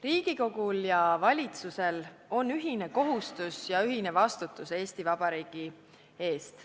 Riigikogul ja valitsusel on ühine kohustus ja ühine vastutus Eesti Vabariigi eest.